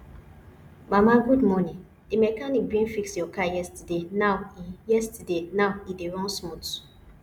mama good morning di mechanic bin fix your car yesterday now e yesterday now e dey run smooth